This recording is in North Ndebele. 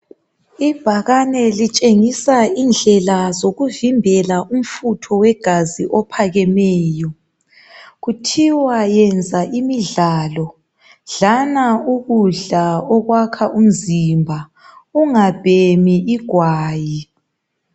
Ibhakane litshengisa indlela zokuvimbela umfutho wegazi ophakemeyo. Kuthiwa yenza imidlalo, dlana ukudla okwakha umzimba, ungabheni igwayi.